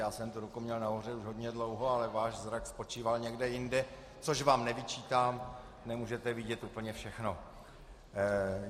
Já jsem tu ruku měl nahoře už hodně dlouho, ale váš zrak spočíval někde jinde, což vám nevyčítám, nemůžete vidět úplně všechno.